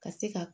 Ka se ka